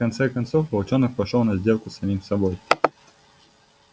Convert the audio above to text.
в конце концов волчонок пошёл на сделку с самим собой